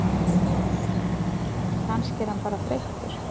Kannski er hann bara þreyttur.